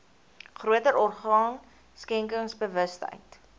groter orgaan skenkersbewustheid